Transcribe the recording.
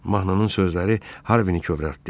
Mahnının sözləri Harvi-ni kövrəltdi.